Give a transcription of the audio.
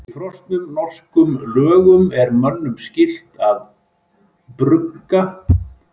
Í fornum norskum lögum er mönnum skylt að brugga og eiga öl til jóla.